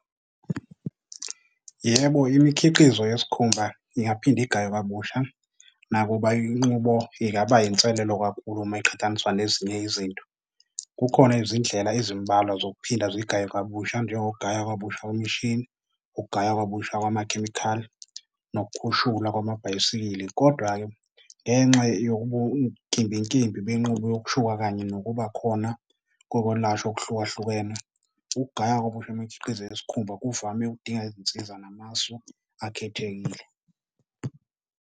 Yebo, imikhiqizo yesikhumba ingaphinde igaywe kabusha nakuba inqubo ingaba yinselelo kakhulu uma iqhathaniswa nezinye izinto. Kukhona izindlela ezimbalwa zokuphinda zigaywe kabusha njengokugaywa kwabusha kwemishini, ukugaywa kwabusha kwamakhemikhali nokukhushulwa kwamabhayisikili. Kodwa-ke, ngenxa yobunkimbinkimbi benqubo yokushuka kanye nokuba khona kokelashwa okuhlukahlukene, ukugaya kwabusha kwemikhiqizo yesikhumba kuvame ukudinga izinsiza namasu akhethekile.